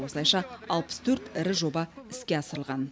осылайша алпыс төрт ірі жоба іске асырылған